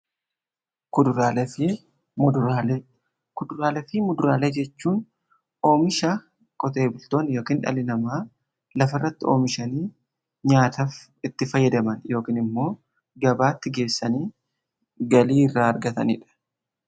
Kuduraalee fi muduraalee: Kuduraalee fi muduraalee jechuun oomisha qotee bultoonni yookiin dhalli namaa lafa irratti oomishanii nyaataaf itti fayyadaman yookiin immoo gabaatti geessanii galii irraa argataniidha.